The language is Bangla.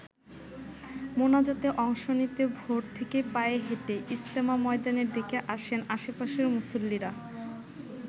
মোনাজাতে অংশ নিতে ভোর থেকেই পায়ে হেঁটে ইজতেমা ময়দানের দিকে আসেন আশপাশের মুসল্লিরা।